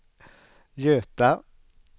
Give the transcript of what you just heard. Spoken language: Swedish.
Göta